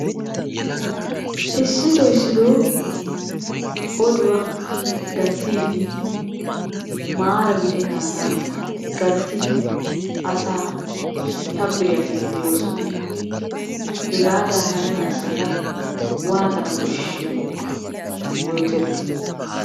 Issitoo issitoo oduwa gattiiddi maara gidennaagaa gattidi asaa shabbiriyageeti de'oosona. Hegaadan haniya asata waatana kishshiyo yooterkketii?